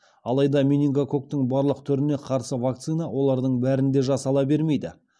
алайда менингококктың барлық түріне қарсы вакцина олардың бәрінде жасала бермейді